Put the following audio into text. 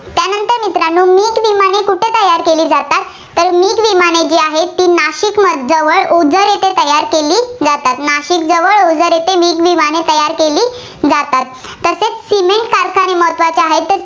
तयार केली जातात. तर मिग विमानं जी आहेत, ती नाशिकमध्ये ओझर येथे तयार केली जातात. नाशिकजवळ ओझर येथे मिग विमानं तयार केली जातात. तसेच cement कारखाने महत्त्वाचे आहेत.